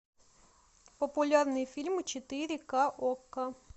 популярные фильмы четыре ка окко